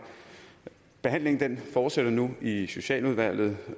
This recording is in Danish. behandlingen fortsætter nu i i socialudvalget